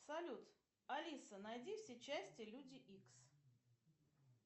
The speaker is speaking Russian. салют алиса найди все части люди икс